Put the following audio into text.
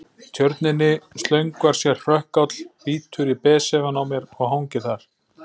Tjörninni slöngvar sér hrökkáll, bítur í besefann á mér og hangir þar.